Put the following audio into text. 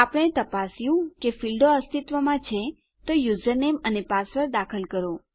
આપણે તપાસ્યું કે આપણા ફીલ્ડો અસ્તિત્વમાં છે તો તમારું યુઝરનેમ અને પાસવર્ડ દાખલ કરો